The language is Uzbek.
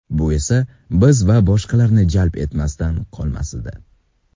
Bu esa biz va boshqalarni jalb etmasdan qolmasdi.